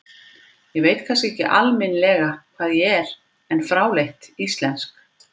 Ég veit kannski ekki alminlega hvað ég er, en fráleitt íslensk.